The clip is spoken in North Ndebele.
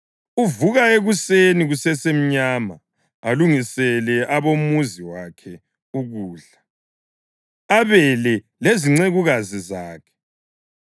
Uvuka ekuseni kusesemnyama; alungisele abomuzi wakhe ukudla abele lezincekukazi zakhe.